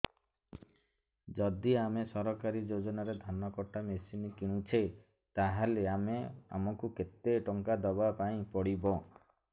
ଯଦି ଆମେ ସରକାରୀ ଯୋଜନାରେ ଧାନ କଟା ମେସିନ୍ କିଣୁଛେ ତାହାଲେ ଆମକୁ କେତେ ଟଙ୍କା ଦବାପାଇଁ ପଡିବ